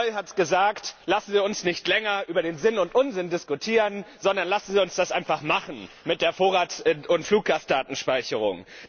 Herr Reul hat gesagt Lassen Sie uns nicht länger über den Sinn und Unsinn diskutieren, sondern lassen Sie uns das einfach machen mit der Vorrats und Fluggastdatenspeicherung.